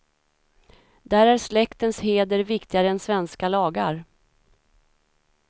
Där är släktens heder viktigare än svenska lagar.